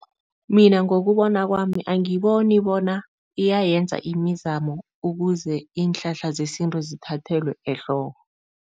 Mina ngokubona kwami, angiboni bona iyayenza imizamo ukuze iinhlahla zesintu zithathelwe ehloko.